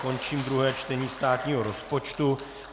Končím druhé čtení státního rozpočtu.